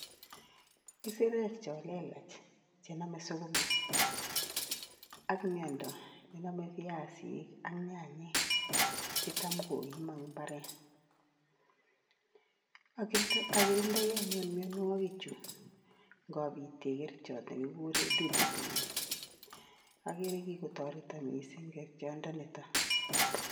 Isirek cho lelach chenamei sukuma ak miando, namei piasik ak nyanyek chitam koimo eng imbaaret. Akirindoi anyuun mianwokichu ngapite kerichot nekikure Duduthrin, ageere kikotoreto mising kerichondo nito.